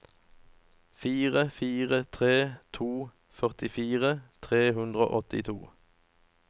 fire fire tre to førtifire tre hundre og åttito